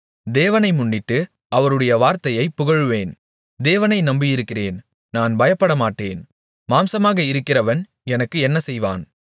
தேவனை முன்னிட்டு அவருடைய வார்த்தையைப் புகழுவேன் தேவனை நம்பியிருக்கிறேன் நான் பயப்பட மாட்டேன் மாம்சமாக இருக்கிறவன் எனக்கு என்ன செய்வான்